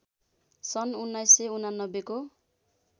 सन् १९८९ को